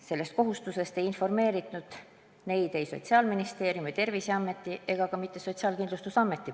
Sellest kohustusest ei informeerinud neid ei Sotsiaalministeerium, Terviseamet ega ka mitte Sotsiaalkindlustusamet.